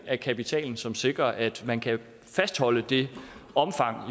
af kapitalen som sikrer at man kan fastholde det omfang